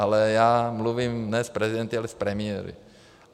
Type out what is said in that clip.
Ale já mluvím ne s prezidenty, ale s premiéry.